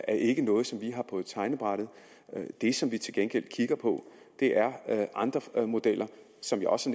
ikke er noget som vi har på tegnebrættet det som vi til gengæld kigger på er andre modeller som jeg også